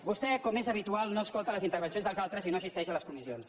vostè com és habitual no escolta les intervencions dels altres i no assisteix a les comissions